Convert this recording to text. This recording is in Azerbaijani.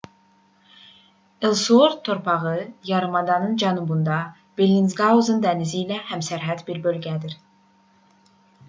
elsuort torpağı yarımadanın cənubunda bellingshausen dənizi ilə həmsərhəd bir bölgədir